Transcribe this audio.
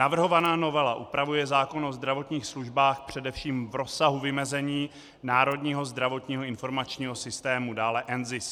Navrhovaná novela upravuje zákon o zdravotních službách především v rozsahu vymezení Národního zdravotního informačního systému, dále NZIS.